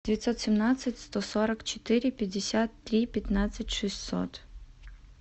девятьсот семнадцать сто сорок четыре пятьдесят три пятнадцать шестьсот